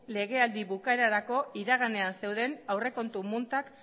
legealdiaren bukaerarako iraganean zeuden aurrekontu multak